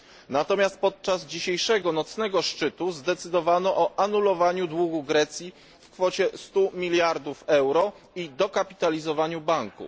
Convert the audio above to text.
Natomiast podczas dzisiejszego nocnego szczytu zdecydowano o anulowaniu długu Grecji w kwocie 100 miliardów euro i dokapitalizowaniu banku.